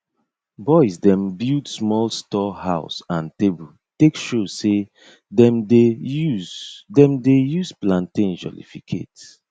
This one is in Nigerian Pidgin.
boys dem build small store house and table take show say dem dey use dem dey use plantain jollificate